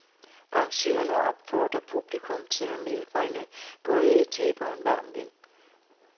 Arrangørerne opfordrer publikum til at medbringe både et tæppe og en varm ven.